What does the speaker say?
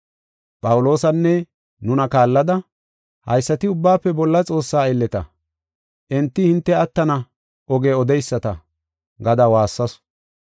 Phawuloosanne nuna kaallada, “Haysati Ubbaafe Bolla Xoossaa aylleta! Enti hinte attana oge odeyisata” gada waassasu.